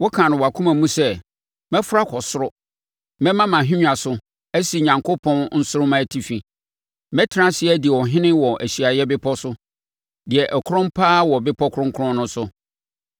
Wokaa no wʼakoma mu sɛ, “Mɛforo akɔ soro; mɛma mʼahennwa so asi Onyankopɔn nsoromma atifi; mɛtena ase adi ɔhene wɔ ahyiaeɛ bepɔ so, deɛ ɛkrɔn paa wɔ bepɔ kronkron no so.